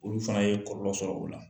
Olu fana ye kɔlɔ sɔrɔ u la